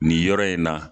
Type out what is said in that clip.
Nin yɔrɔ in na